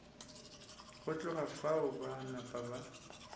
go tloga fao ba napa